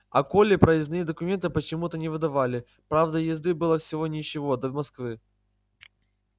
а коле проездные документы почему-то не выдавали правда езды было всего ничего до москвы